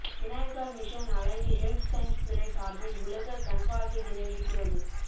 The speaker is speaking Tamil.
Vinayaka mission allied health science துறை சார்பில் உலக கண் பார்வை தின விழிப்புணர்வு